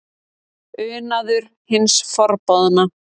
Unaður hins forboðna?